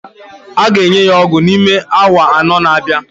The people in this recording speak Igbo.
A ga-enye ya ọgwụ n'ime awa anọ na-abịa